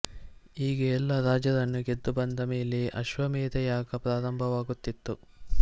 ಹೀಗೆ ಎಲ್ಲ ರಾಜರನ್ನೂ ಗೆದ್ದು ಬಂದ ಮೇಲೆಯೇ ಅಶ್ವಮೇಧ ಯಾಗ ಪ್ರಾರಂಭವಾಗುತ್ತಿತ್ತು